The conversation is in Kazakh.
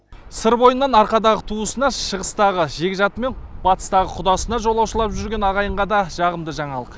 сыр бойынан арқадағы туысына шығыстағы жекжаты мен батысытағы құдасына жолаушылап жүрген ағайынға да жағымды жаңалық